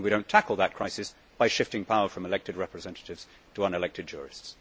and we do not tackle that crisis by shifting power from elected representatives to unelected jurists.